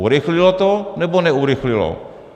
Urychlilo to, nebo neurychlilo?